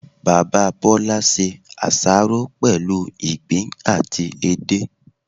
Bàbá Bólá se àsáró pèlú ìgbín àti edé